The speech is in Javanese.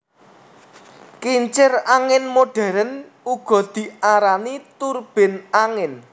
Kincir angin modern uga diarani turbin angin